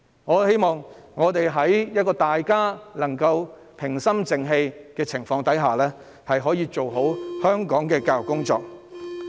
我希望我們可以在平心靜氣的氣氛下，做好香港的教育工作。